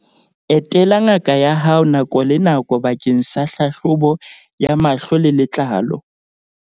Etela ngaka ya hao nako le nako bakeng sa hlahlobo ya mahlo le letlalo.